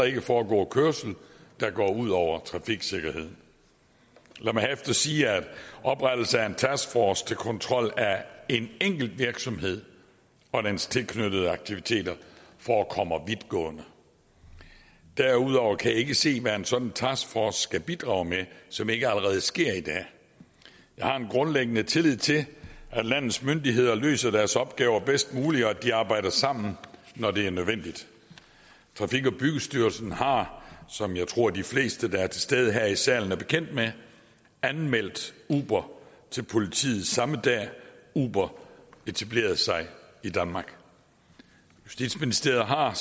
ikke foregå kørsel der går ud over trafiksikkerheden lad mig herefter sige at oprettelse af en taskforce til kontrol af en enkelt virksomhed og dens tilknyttede aktiviteter forekommer vidtgående derudover kan jeg ikke se hvad en sådan en taskforce skal bidrage med som ikke allerede sker i dag jeg har en grundlæggende tillid til at landets myndigheder løser deres opgaver bedst muligt og at de arbejder sammen når det er nødvendigt trafik og byggestyrelsen har som jeg tror de fleste der er til stede her i salen er bekendt med anmeldt uber til politiet samme dag uber etablerede sig i danmark justitsministeriet har